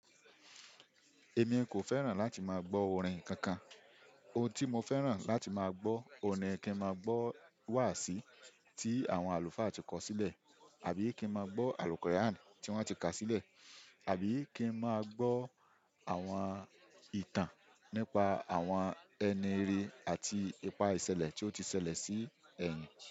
Èmi kò fẹ́ràn láti máa gbọ́ orin kankan. Ohun tí mo fẹ́ràn láti máa gbọ́, oun ní kí n máa gbọ́ wàási tí àwọn àlùfáà ti kọ̀sílẹ̀, àbí kí n máa gbọ́ al-quran tí wọ́n ti ka sílẹ̀, àbí kí n máa gbọ́ àwọn ìtàn nípa àwọn ẹni re àti ipa ìṣẹ̀lẹ̀ tí ó ti ṣẹlẹ̀ sí ẹ̀yìn.